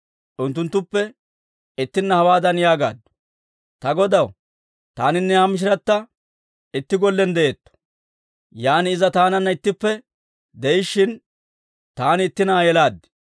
Unttuttuppe ittina hawaadan yaagaaddu; «Ta godaw, taaninne ha mishirata itti gollen de'eetto. Yan iza taananna ittippe de'ishshin, taani itti na'aa yelaad.